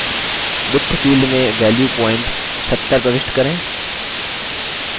width field में value point 70 प्रविष्ट करें